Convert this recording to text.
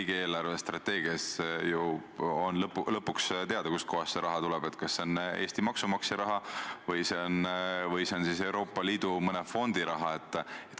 Riigi eelarvestrateegia puhul on ju lõpuks teada, kust kohast see raha tuleb: kas see on Eesti maksumaksja raha või Euroopa Liidu mõne fondi raha.